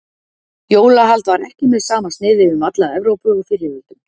jólahald var ekki með sama sniði um alla evrópu á fyrri öldum